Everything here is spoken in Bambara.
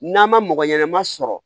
N'a ma mɔgɔ ɲɛnama sɔrɔ